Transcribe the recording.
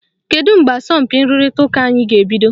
Kedu mgbe asọmpi nrụrịta ụka anyị ga-ebido?